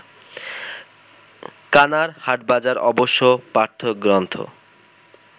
কানার হাটবাজার অবশ্য-পাঠ্যগ্রন্থ